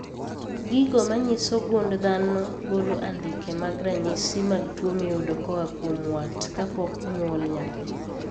Gigo manyiso gund dhano golo andike mag ranyisi mag tuo miyudo koa kuom wat kapok onywol nyathi